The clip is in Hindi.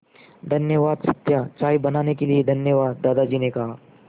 धन्यवाद सत्या चाय बनाने के लिए धन्यवाद दादाजी ने कहा